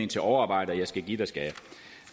til overarbejde og jeg skal give dig skal